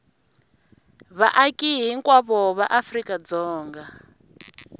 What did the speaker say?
vaaki hinkwavo va afrika dzonga